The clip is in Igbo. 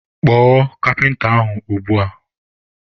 Kpọọ kapịnta ahụ ugbua!